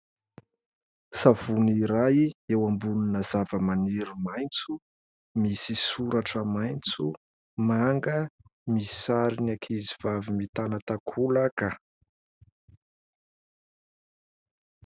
Savony iray eo ambonina zavamaniry maitso misy soratra maitso, manga, misy sarin'ny ankizivavy mitana takolaka.